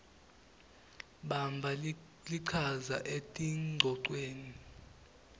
bamba lichaza etingcocweni